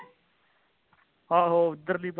ਆਹੋ ਇਧਰ ਲੀ ਪਰਲੀ